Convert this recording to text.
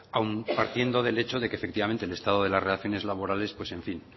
aun partiendo del hecho de que efectivamente el estado de las relaciones laborales